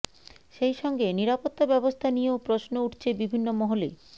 সেই সঙ্গে নিরাপত্তা ব্যবস্থা নিয়েও প্রশ্ন উঠছে বিভিন্ন মহলে